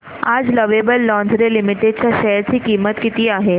आज lovable lingerie limited च्या share ची किंमत किती आहे